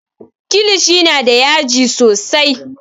Kilishi na da yaji sosai